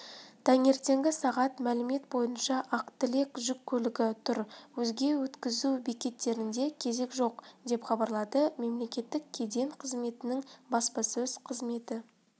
таңертеңгі сағат мәлімет бойынша ақ тілек жүк көлігі тұр өзге өткізу бекеттерінде кезек жоқ деп хабарлады мемлекеттік кеден қызметінің баспасөз қызметі